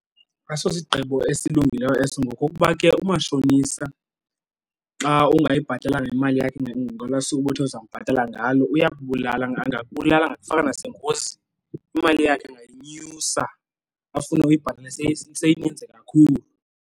Asosigqibo esilungileyo eso ngokokuba ke umashonisa xa ungayibhatalanga imali yakhe ngolwaa suku ubuthe uzambhatala ngalo uyakubulala, angakubulala angakufaka nasengozini. Imali yakhe angayinyusa, afune uyibhatale seyininzi kakhulu.